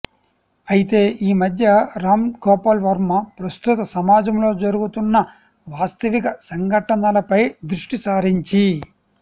అయితే ఈ మధ్య రామ్ గోపాల్ వర్మ ప్రస్తుత సమాజంలో జరుగుతున్న వాస్తవిక సంఘటనలపై దృష్టి సారించి